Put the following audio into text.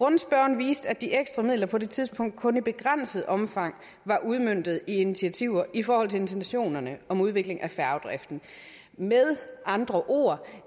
rundspørgen viste at de ekstra midler på det tidspunkt kun i begrænset omfang var udmøntet i initiativer i forhold til intentionerne om udvikling af færgedriften med andre ord